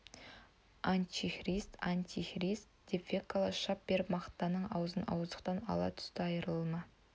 анчихрист антихрист деп фекла шап беріп мақаның атын ауыздықтан ала түсті айрылма